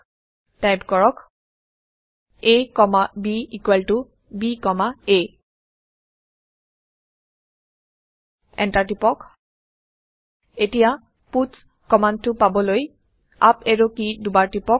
type কৰক a comma b equal ত b comma a enter টিপক এতিয়া পাটছ কমাণ্ডটো পাবলৈ আপ এৰো কি দুবাৰ টিপক